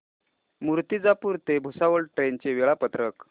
मूर्तिजापूर ते भुसावळ ट्रेन चे वेळापत्रक